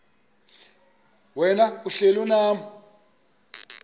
wena uhlel unam